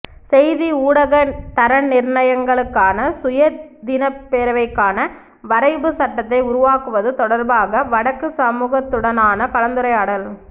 செய்தி ஊடக தரநிர்ணயங்களுக்கான சுயாதீனப்பேரவைக்கான வரைபுச் சட்டத்தை உருவாக்குவது தொடர்பாக வடக்குச் சமூகத்துடனான கலந்துரையாடல்